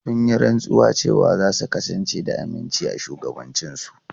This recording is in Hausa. Sun yi rantsuwa cewa za su kasance da aminci a shugabancinsu.